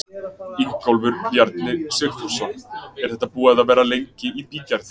Ingólfur Bjarni Sigfússon: Er þetta búið að vera lengi í bígerð?